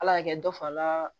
Ala y'a kɛ dɔ fana ye